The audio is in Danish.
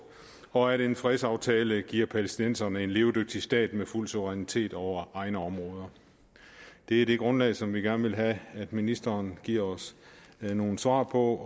og at en fredsaftale giver palæstinenserne en levedygtig stat med fuld suverænitet over egne områder det er det grundlag som vi gerne vil have at ministeren giver os nogle svar på